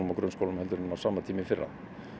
og grunnskólum heldur en á sama tíma í fyrra